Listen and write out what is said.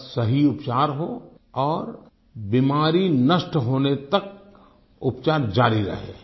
बस सही उपचार हो और बीमारी नष्ट होने तक उपचार जारी रहे